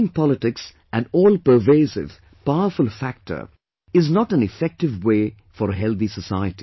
Making politics an all pervasive, powerful factor is not an effective way for a healthy society